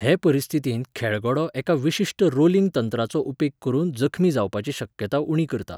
हे परिस्थितींत खेळगडो एका विशिश्ट रोलिंग तंत्राचो उपेग करून जखमी जावपाची शक्यताय उणी करता.